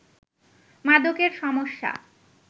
মাদকের সমস্যা